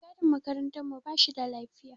Mai gadin makarantar mu ba shida lafiya.